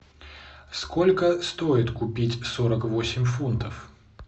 сколько стоит купить сорок восемь фунтов